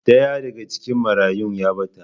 Daya daga cikin marayun ya bata